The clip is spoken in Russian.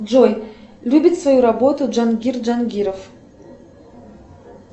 джой любит свою работу джангир джангиров